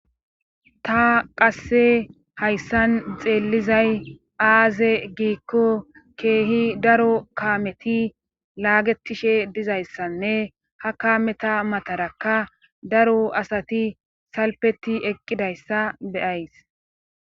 ta qasse hayssan xeellizay aaze giikko keehi daro kaameti laagetishe dizayssanne ha kaameta matarakka daro asati salpeti eqqidayssa beyays